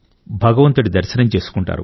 భగవంతుడి దర్శనం చేసుకుంటారు